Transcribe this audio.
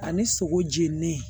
Ani sogo jeninen